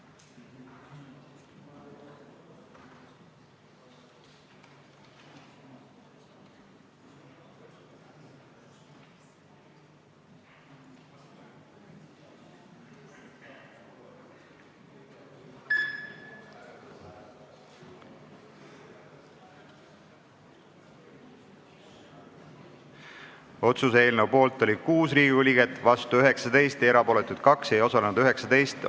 Hääletustulemused Otsuse eelnõu poolt oli 6 Riigikogu liiget, vastu 19, erapooletuid 2, hääletusel ei osalenud 19 rahvasaadikut.